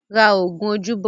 Ra oògùn ojú bọ̀ ó!